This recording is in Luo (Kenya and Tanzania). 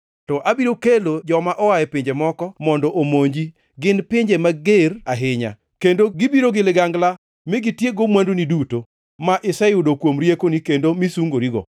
to abiro kelo joma oa e pinje moko mondo omonji, gin pinje mager ahinya, kendo gibiro gi ligangla mi gitiekgo mwanduni duto ma iseyudo kuom riekoni kendo misungorigo.